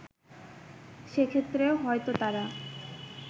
সেক্ষেত্রে হয়তো তাঁরা